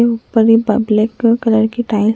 ये उपर ये पब्लिक कलर के टाइल ।